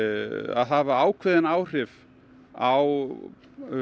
að hafa ákveðin áhrif á